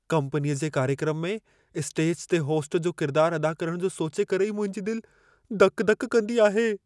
कम्पनीअ जे कार्यक्रम में स्टेज ते होस्ट जो किरदारु अदा करणु जो सोचे करे ई मुंहिंजी दिलि दक -दक कंदी आहे।